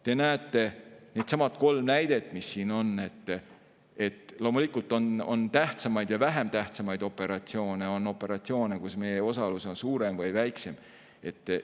Te näete, needsamad kolm näidet, mis siin on – loomulikult on tähtsamaid ja vähem tähtsamaid operatsioone, on operatsioone, kus meie osalus on suurem, ja on neid, kus see on väiksem.